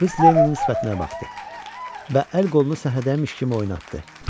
Qız Lenninin sifətinə baxdı və əl qolunu səhərədəmiş kimi oynatdı.